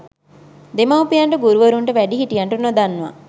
දෙමාපියන්ට, ගුරුවරුන්ට, වැඩිහිටියන්ට, නොදන්වා